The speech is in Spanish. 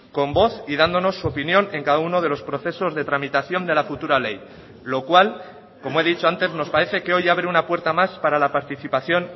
con voz y dándonos su opinión en cada uno de los procesos de tramitación de la futura ley lo cual como he dicho antes nos parece que hoy abre una puerta más para la participación